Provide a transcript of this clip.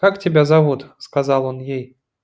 как тебя зовут сказал он ей